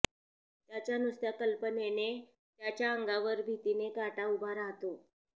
त्याच्या नुसत्या कल्पनेने त्यांच्या अंगावर भीतीने काटा उभा राहतो